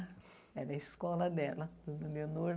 Era a escola dela, dona Leonor.